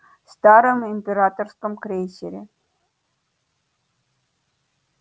старом императорском крейсере